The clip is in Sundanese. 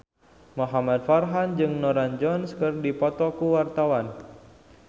Muhamad Farhan jeung Norah Jones keur dipoto ku wartawan